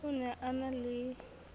o ne a na ie